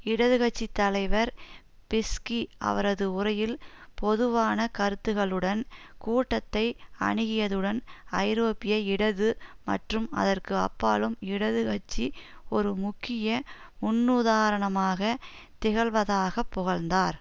இடது கட்சி தலைவர் பிஸ்கி அவரது உரையில் பொதுவான கருத்துக்களுடன் கூட்டத்தை அணுகியதுடன் ஐரோப்பிய இடது மற்றும் அதற்கு அப்பாலும் இடது கட்சி ஒரு முக்கிய முன்னுதாரணமாக திகழ்வதாகப் புகழ்ந்தார்